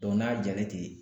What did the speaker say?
n'a jalen ten